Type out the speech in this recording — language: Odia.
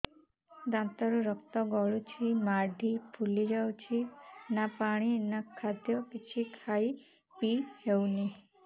ଦାନ୍ତ ରୁ ରକ୍ତ ଗଳୁଛି ମାଢି ଫୁଲି ଯାଉଛି ନା ପାଣି ନା ଖାଦ୍ୟ କିଛି ଖାଇ ପିଇ ହେଉନି